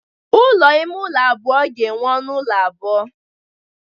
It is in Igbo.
Ụlọ ime ụlọ abụọ ga-enwe ọnụ ụlọ abụọ.